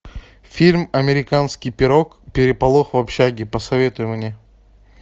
фильм американский пирог переполох в общаге посоветуй мне